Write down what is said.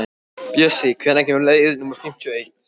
Bjössi, hvenær kemur leið númer fimmtíu og eitt?